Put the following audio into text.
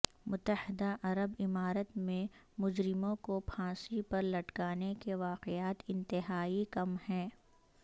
متحدہ عرب امارت میں مجرموں کو پھانسی پر لٹکانے کے واقعات انتہائی کم ہیں